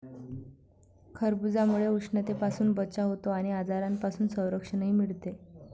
खरबुजामुळे उष्णतेपासून बचाव होतो आणि आजारांपासून संरक्षणही मिळते.